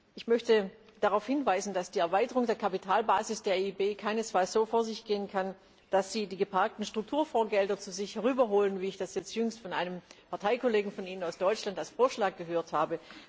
Ich möchte darauf hinweisen, dass die Erweiterung der Kapitalbasis der EIB keinesfalls so vor sich gehen kann, dass Sie die geparkten Strukturfondsgelder zu sich rüberholen, wie ich das jetzt jüngst von einem Parteikollegen von Ihnen aus Deutschland als Vorschlag gehört habe.